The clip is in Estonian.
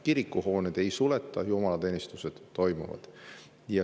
Kirikuhooneid ei suleta, jumalateenistused toimuvad.